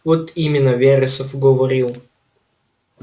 вот именно вересов говорил